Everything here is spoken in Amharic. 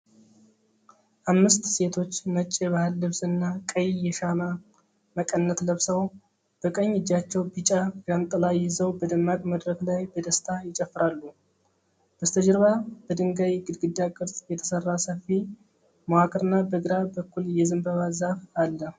አምስት ሴቶች ነጭ የባህል ልብስና ቀይ የሸማ መቀነት ለብሰው፣ በቀኝ እጃቸው ቢጫ ዣንጥላ ይዘው በደማቅ መድረክ ላይ በደስታ ይጨፍራሉ። ከበስተጀርባ በድንጋይ ግድግዳ ቅርጽ የተሰራ ሰፊ መዋቅርና በግራ በኩል የዘንባባ ዛፍ አለ።